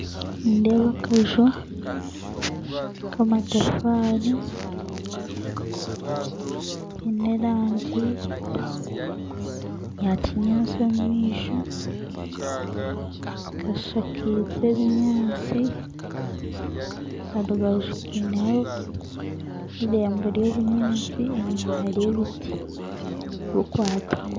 Nindeeba akaju k'amatafaari kaine erangi ya kinyaasi omu maisho, kashakaize ebinyaasi. Aha rubaju kaineho omuringo gw'obunyaasi enyima hariyo ebiti bikwatiine.